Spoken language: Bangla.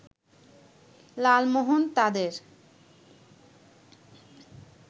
লালমোহন তাদের